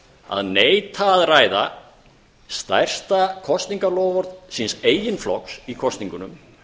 að neita að ræða stærsta kosningaloforð síns eigin flokks í kosningunum